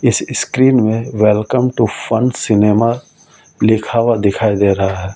इस स्क्रीन में welcome to Fun Cinema लिखा हुआ दिखाई दे रहा है।